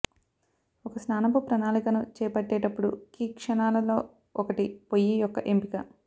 ఒక స్నానపు ప్రణాళికను చేపట్టేటప్పుడు కీ క్షణాలలో ఒకటి పొయ్యి యొక్క ఎంపిక